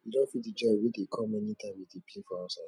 you don feel di joy wey dey come any time you dey play for outside